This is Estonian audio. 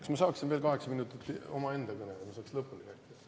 Kas ma saaksin veel kaheksa minutit omaenda kõneks, et ma saaks lõpuni rääkida?